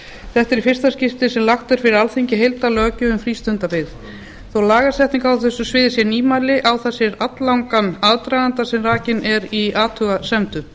þetta er í fyrsta skipti sem lögð er fyrir alþingi heildarlöggjöf um frístundabyggð þó lagasetning á þessu sviði sé nýmæli á það sér alllangan aðdraganda sem rakinn er í athugasemdum